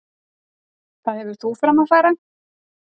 Hvað hefur þú fram að færa?